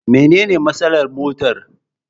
Mene ne matsalar motar?